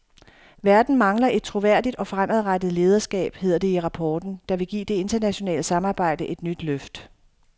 Verden mangler et troværdigt og fremadrettet lederskab, hedder det i rapporten, der vil give det internationale samarbejde et nyt løft.